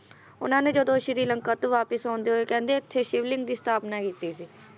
ਉਹਨਾਂ ਨੇ ਜਦੋਂ ਸ਼੍ਰੀ ਲੰਕਾ ਤੋਂ ਵਾਪਸ ਆਉਂਦੇ ਹੋਏ ਕਹਿੰਦੇ ਉੱਥੇ ਸ਼ਿਵਲਿੰਗ ਦੀ ਸਥਾਪਨਾ ਕੀਤੀ ਸੀ।